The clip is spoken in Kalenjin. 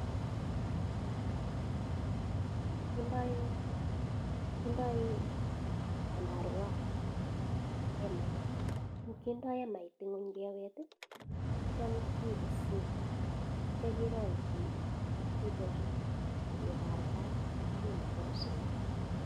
Kidoii emait ingony kewet atya kerangchii tukchutakchu akeparkan akemetaa kosaiyaa